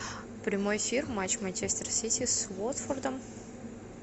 прямой эфир матч манчестер сити с уотфордом